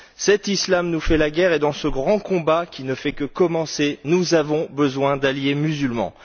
Cet islam nous fait la guerre et, dans ce grand combat qui ne fait que commencer, nous avons besoin d'alliés musulmans.